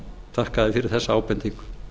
þakka þér fyrir þessa ábendingu